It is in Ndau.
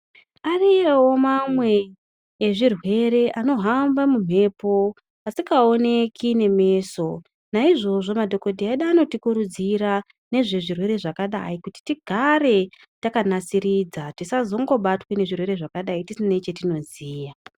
Ariyowo mamwa ezvirwere anohamba mumhepo asingaoneki nemeso naizvozvo madhokodheya edu anotikurudzira nezvezvirwere zvakadai kuti tigare takanasiridza tisangobatwa ngezvitwere zvakadai tisina chatinoziya.